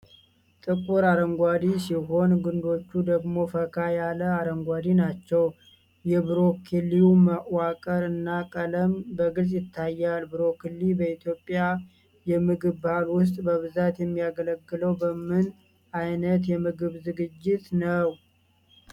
ጥቁር አረንጓዴ ሲሆኑ፣ ግንዶቹ ደግሞ ፈካ ያለ አረንጓዴ ናቸው። የብሮኮሊው መዋቅር እና ቀለም በግልጽ ይታያል። ብሮኮሊ በኢትዮጵያ የምግብ ባህል ውስጥ በብዛት የሚያገለግለው በምን ዓይነት የምግብ ዝግጅት ነው?